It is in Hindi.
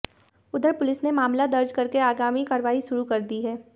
उधर पुलिस ने मामला दर्ज करके आगामी कार्रवाई शुरू कर दी है